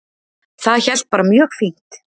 Það hélt bara mjög fínt